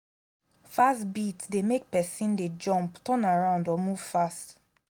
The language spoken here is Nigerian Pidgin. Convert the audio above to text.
use di opportunity dance away your sadness make you de joyful